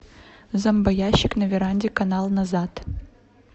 зомбоящик на веранде канал назад